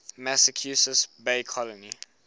massachusetts bay colony